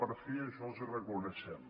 per fi això els ho reconeixem